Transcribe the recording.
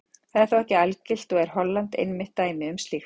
Það er þó ekki algilt og er Holland einmitt dæmi um slíkt.